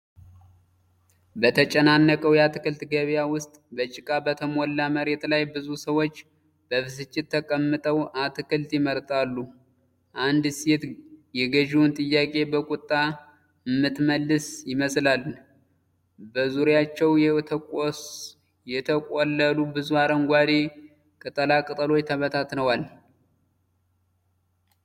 በተጨናነቀው የአትክልት ገበያ ውስጥ፣ በጭቃ በተሞላ መሬት ላይ ብዙ ሰዎች በብስጭት ተቀምጠው አትክልት ይመርጣሉ። አንዲት ሴት የገዢውን ጥያቄ በቁጣ የምትመልስ ይመስላል፣ በዙሪያቸው የተቆለሉ ብዙ አረንጓዴ ቅጠላቅጠሎች ተበታትነዋል።